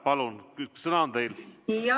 Palun, sõna on teil!